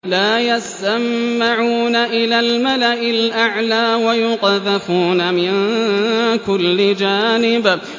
لَّا يَسَّمَّعُونَ إِلَى الْمَلَإِ الْأَعْلَىٰ وَيُقْذَفُونَ مِن كُلِّ جَانِبٍ